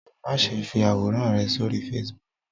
Máṣe fí àwòrán rẹ sórí Facebook.